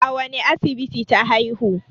a wane asibiti ta haihu?